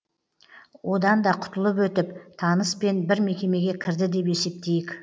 одан да құтылып өтіп таныспен бір мекемеге кірді деп есептейік